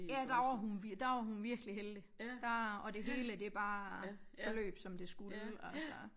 Ja der var hun der var hun virkelig heldig der og det hele bare forløb som det skulle altså